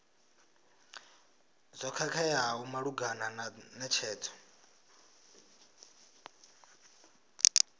zwo khakheaho malugana na netshedzo